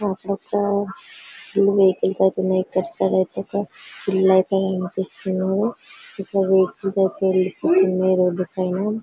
Full vehicles అయితే ఇంకా అటు సైడ్ అయితే ఒక ఇల్లు అయితే కనిపిస్తుంది. ఇక్కడ వెహికల్స్ అయితే వెళ్ళిపోతున్నయ్ రోడ్డు పైన.